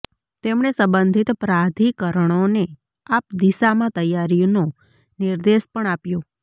તેમણે સંબંધિત પ્રાધિકરણોને આ દિશામાં તૈયારીનો નિર્દેશ પણ આપ્યો